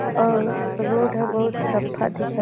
अउ रोड ह बहुत सफा दिखत --